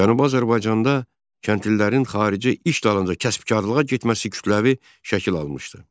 Cənubi Azərbaycanda kəndlilərin xarici iş dalınca kəsbkarlığa getməsi kütləvi şəkil almışdı.